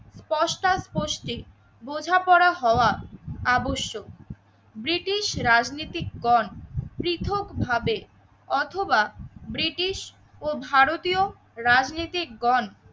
পোস্টা পস্তি বোঝাপড়া হওয়া আবশ্যক। ব্রিটিশ রাজনীতিকগণ পৃথকভাবে অথবা ব্রিটিশ ও ভারতীয় রাজনীতিক গণ